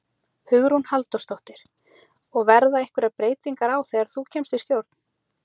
Hugrún Halldórsdóttir: Og verða einhverjar breytingar á þegar þú kemst í stjórn?